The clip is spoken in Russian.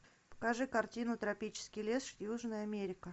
покажи картину тропический лес южная америка